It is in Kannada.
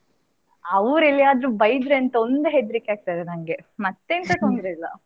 ಅವರು ಎಲ್ಲಿ ಆದ್ರು ಬೈದ್ರೆ ಅಂತ ಒಂದು ಹೆದ್ರಿಕೆ ಆಗ್ತದೆ ನಂಗೆ ಮತ್ತ್ ಎಂತ ತೊಂದರೆ ಇಲ್ಲ.